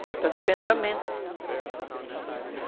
Falta de pensamento.